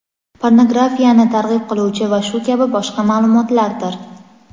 pornografiyani targ‘ib qiluvchi va shu kabi boshqa maʼlumotlardir.